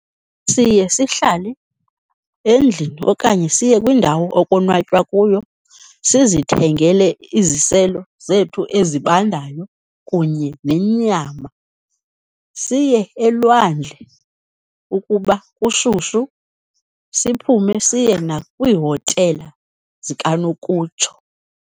Siye sihlale endlini okanye siye kwindawo okonwatywa kuyo sizithengele iziselo zethu ezibandayo kunye nenyama. Siye elwandle ukuba kushushu, siphume siye nakwihotela zikanokutsho.